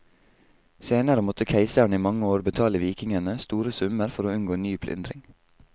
Senere måtte keiseren i mange år betale vikingene store summer for å unngå ny plyndring.